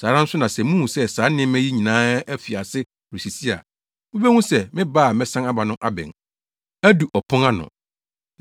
Saa ara nso na sɛ muhu sɛ saa nneɛma yi nyinaa afi ase resisi a, mubehu sɛ me ba a mɛsan aba no abɛn, adu ɔpon ano.